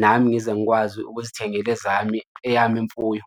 nami ngize ngikwazi ukuzithengela ezami, eyami imfuyo.